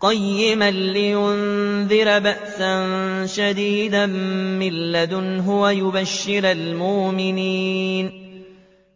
قَيِّمًا لِّيُنذِرَ بَأْسًا شَدِيدًا مِّن لَّدُنْهُ